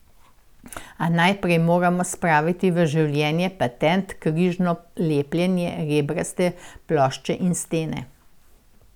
A najprej moramo spraviti v življenje patent križno lepljene rebraste plošče in stene.